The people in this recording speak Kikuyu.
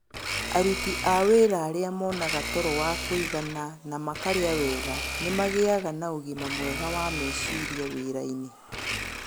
Aruti a wĩra arĩa monaga toro wa kũigana na makarĩa wega nĩ magĩaga na ũgima mwega wa meciria wĩrainĩ.